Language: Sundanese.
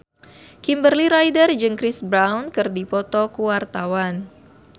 Kimberly Ryder jeung Chris Brown keur dipoto ku wartawan